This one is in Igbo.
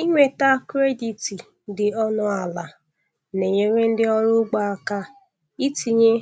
Ịnweta kredit dị ọnụ ala na-enyere ndị ọrụ ugbo aka itinye